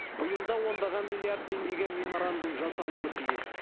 биыл да ондаған миллиард теңгеге меморандум жасалуы тиіс